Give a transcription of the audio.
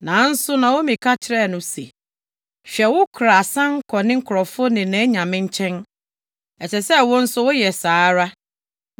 Nanso Naomi ka kyerɛɛ no se, “Hwɛ, wo kora asan kɔ ne nkurɔfo ne nʼanyame nkyɛn. Ɛsɛ sɛ wo nso woyɛ saa ara.”